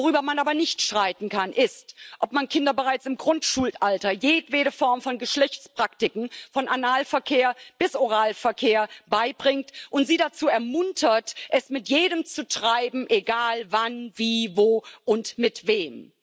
Worüber man aber nicht streiten kann, ist, ob man Kindern bereits im Grundschulalter jedwede Form von Geschlechtspraktiken von Analverkehr bis Oralverkehr beibringt und sie dazu ermuntert, es mit jedem zu treiben egal wann, wie, wo und mit wem.